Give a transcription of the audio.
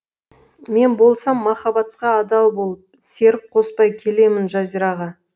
мен болсам махаббатқа адал болып серік қоспай келемін жазираға